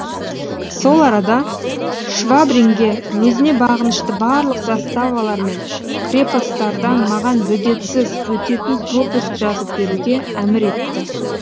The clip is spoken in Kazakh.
сол арада швабринге өзіне бағынышты барлық заставалар мен крепостардан маған бөгетсіз өтетін пропуск жазып беруге әмір етті